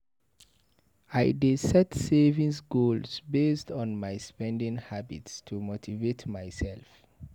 I dey set savings goals based on my spending habits to motivate myself.